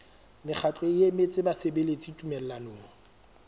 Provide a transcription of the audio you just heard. mokgatlo o emetseng basebeletsi tumellanong